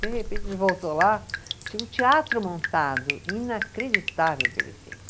De repente, a gente voltou lá, tinha um teatro montado, inacreditável o que ele fez.